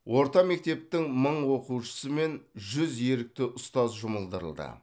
орта мектептің мың оқушысы мен жүз ерікті ұстаз жұмылдырылды